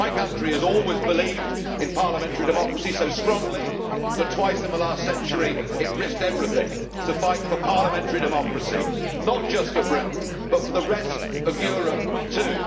My country has always believed in parliamentary democracy so strongly that twice in the last century it risked everything to fight for parliamentary democracy, not just for Britain but for the rest of Europe too.